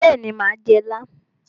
Bẹ́ẹ̀ni mà á jẹ ilá.